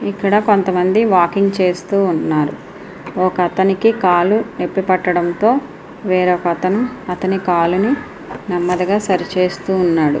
ఇక్కడ కొంతమంది వాకింగ్ చేస్తూ ఉన్నారు. ఇక్కడ ఒక అతనికి కాలు నొప్పి పట్టడంతో వేరొక అతను అతని కాలినీ నెమ్మదిగా సరి చేస్తూ ఉన్నాడు.